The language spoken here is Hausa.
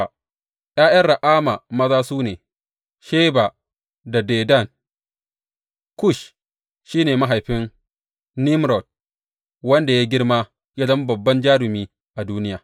’Ya’yan Ra’ama maza su ne, Sheba da Dedan Kush shi ne mahaifin Nimrod, wanda ya yi girma ya zama babban jarumi a duniya.